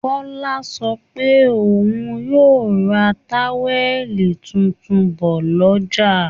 Kọ́lá sọ pé òun yóò ra táwẹ̀lì tuntun bọ̀ lọ́jà